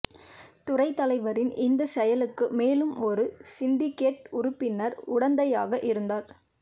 துறை தலைவரின் இந்த செயலுக்கு மேலும் ஒரு சிண்டிகேட் உறுப்பினர் உடந்தையாக இருந்தார்